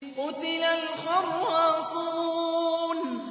قُتِلَ الْخَرَّاصُونَ